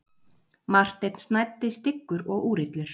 Marteinn snæddi styggur og úrillur.